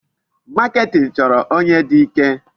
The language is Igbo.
Marketing chọrọ onye dị ike.